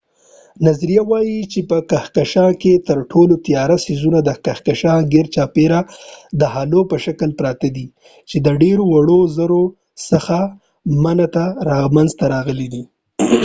نظریه وای چې په کهکشان کې تر ټولو تیاره څیزونه د کهکشان ګیرچاپیره د هالو په شکل پراته وي چې د ډیرو وړو زرو څخه منځ ته راغلي وي